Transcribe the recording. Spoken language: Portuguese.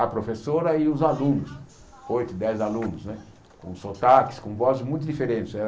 A professora e os alunos, oito, dez alunos né, com sotaques, com vozes muito diferentes. Era